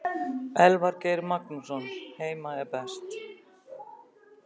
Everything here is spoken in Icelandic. Elvar Geir Magnússon Heima er best.